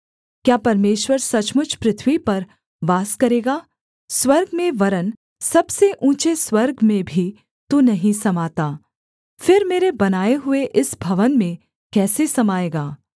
क्या परमेश्वर सचमुच पृथ्वी पर वास करेगा स्वर्ग में वरन् सबसे ऊँचे स्वर्ग में भी तू नहीं समाता फिर मेरे बनाए हुए इस भवन में कैसे समाएगा